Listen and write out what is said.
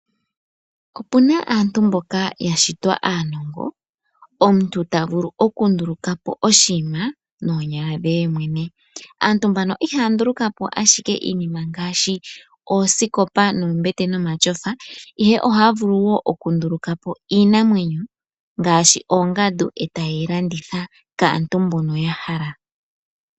Opu na aantu mboka ya shitwa aanongo. Omuntu ta vulu okunduluka po oshinima noonyala dhe yemwene. Aantu mbano ihaya nduluka po ike iinima ngaashi oosikopa, noombete nomashofa. Ihe ohaya vulu wo okunduluka po iinamwenyo ngaashi oongandu e taye yi landitha kantu mboka ya hala.